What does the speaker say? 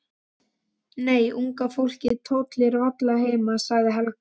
Nei, unga fólkið tollir varla heima sagði Helga.